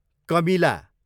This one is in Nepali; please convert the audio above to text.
कमिला